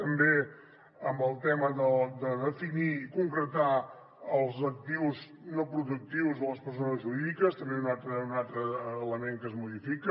també amb el tema de definir i concretar els actius no productius de les persones jurídiques també és un altre element que es modifica